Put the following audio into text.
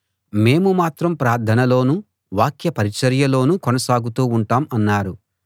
మేము మాత్రం ప్రార్థనలోనూ వాక్య పరిచర్యలోనూ కొనసాగుతూ ఉంటాం అన్నారు